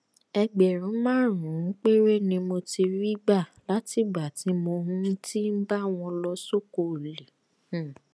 ẹgbẹrún márùnún péré ni mo ti rí gbà látìgbà tí mo um ti ń bá wọn lọ sóko ọlẹ um